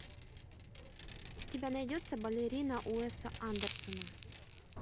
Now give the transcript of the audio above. у тебя найдется балерина уэсса андерсена